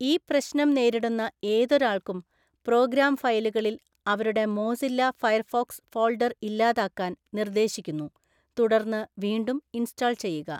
ഈ പ്രശ്‌നം നേരിടുന്ന ഏതൊരാൾക്കും 'പ്രോഗ്രാം ഫയലുകളിൽ' അവരുടെ മോസില്ല ഫയർഫോക്‌സ് ഫോൾഡർ ഇല്ലാതാക്കാൻ നിർദ്ദേശിക്കുന്നു, തുടർന്ന് വീണ്ടും ഇൻസ്റ്റാൾ ചെയ്യുക.